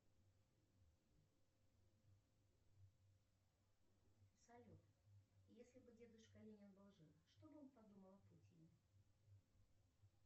салют если бы дедушка ленин был жив что бы он подумал о путине